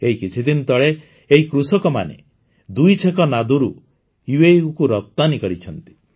ଏଇ କିଛିଦିନ ତଳେ ଏହି କୃଷକମାନେ ଦୁଇଛେକ ନାଦରୁ UPEକୁ ରପ୍ତାନୀ କରିଛନ୍ତି